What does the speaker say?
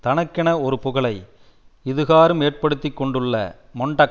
தனக்கென ஒரு புகழை இதுகாறும் ஏற்படுத்தி கொண்டுள்ள மொன்டக்